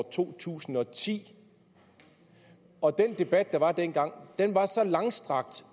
to tusind og ti og at den debat der var dengang var så langstrakt